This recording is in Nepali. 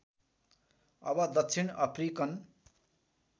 अब दक्षिण अफ्रिकन